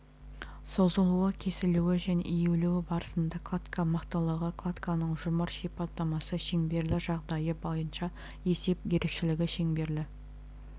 созылуы кесілуі және иілуі барысында кладка мықтылығы кладканың жұмыр сипаттамасы шеңберлі жағдайы бойынша есеп ерекшілігі шеңберлі